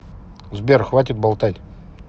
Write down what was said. сбер хватит болтать